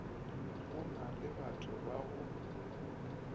go na lebatho ba go